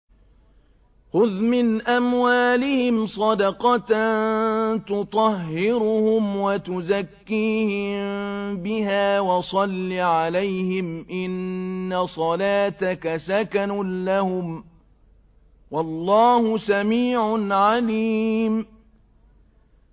خُذْ مِنْ أَمْوَالِهِمْ صَدَقَةً تُطَهِّرُهُمْ وَتُزَكِّيهِم بِهَا وَصَلِّ عَلَيْهِمْ ۖ إِنَّ صَلَاتَكَ سَكَنٌ لَّهُمْ ۗ وَاللَّهُ سَمِيعٌ عَلِيمٌ